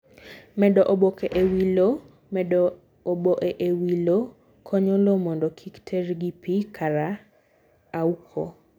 Medo oboke e wii lowo: Medo oboe e wii lowo konyo low mondo kik terr gi pii kara auko.